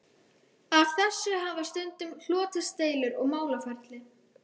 Af þessu hafa stundum hlotist deilur og málaferli.